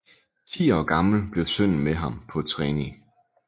Ti år gammel blev sønnen med ham på trening